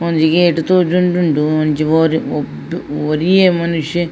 ಒಂಜಿ ಗೇಟ್ ತೋಜೊಂದೊಂಡು ಒಂಜಿ ಒರಿ ಹ್ಮ್ ಒರಿಯೆ ಮನುಷ್ಯೆ.